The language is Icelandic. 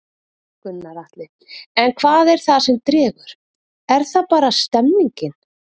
Gunnar Atli: En hvað er það sem dregur, er það bara stemningin?